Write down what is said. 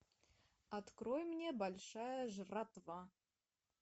открой мне большая жратва